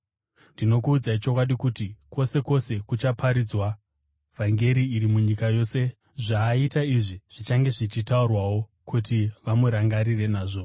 Ndinokuudzai chokwadi kuti, kwose kwose kuchaparidzwa vhangeri iri munyika yose, zvaaita izvi zvichange zvichitaurwawo kuti vamurangarire nazvo.”